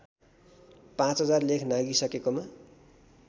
५००० लेख नाघिसकेकोमा